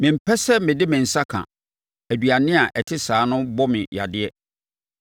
Mempɛ sɛ mede me nsa ka; aduane a ɛte saa no bɔ me yadeɛ.